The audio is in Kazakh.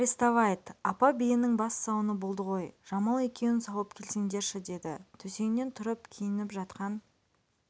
арестовайт апа биенің бас сауыны болды ғой жамал екеуін сауып келсеңдерші деді төсегінен тұрып киініп жатқан